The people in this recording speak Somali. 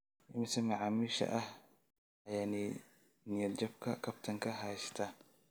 Immisa macaamiisha ah ayaa niyad jabka kabtanka haysta?